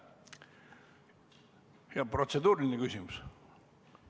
Protseduuriline küsimus.